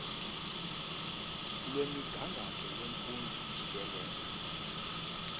lwemigangatho yemfundo jikelele